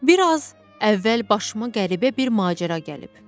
Bir az əvvəl başıma qəribə bir macəra gəlib.